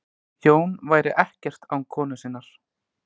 Jón væri ekkert án konu sinnar